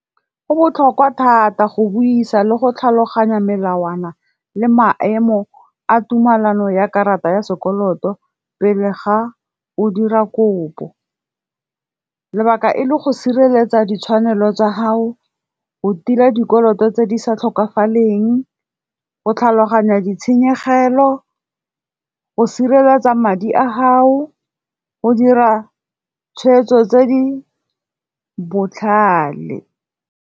Go botlhokwa thata go buisa le go tlhaloganya melawana le maemo a tumelano ya karata ya sekoloto pele ga o dira kopo. Lebaka e le go sireletsa ditshwanelo tsa hao, o tila dikoloto tse di sa tlhokagaleng, o tlhaloganya ditshenyegelo, o sireletsa madi a hao, o dira tshweetso tse di botlhale.